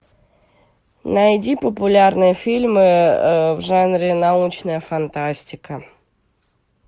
найди популярные фильмы в жанре научная фантастика